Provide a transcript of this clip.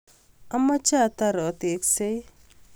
amache atar ateksei